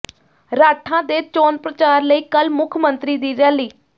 ਰਾਠਾਂ ਦੇ ਚੋਣ ਪ੍ਰਚਾਰ ਲਈ ਕੱਲ੍ਹ ਮੁੱਖ ਮੰਤਰੀ ਦੀ ਰੈਲੀ